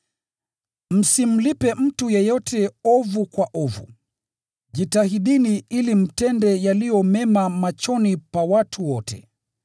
Msimlipe mtu yeyote ovu kwa ovu. Jitahidini ili mtende yaliyo mema machoni pa watu wote.